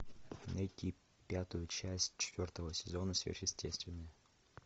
найти пятую часть четвертого сезона сверхъестественное